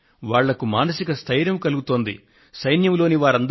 దీంతో వారు మహత్తరమైన స్ఫూర్తిని ప్రోత్సాహాన్ని పొందుతున్నారు